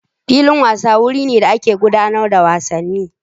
Filin wasa wuri ne da ake gudanar da wasanni.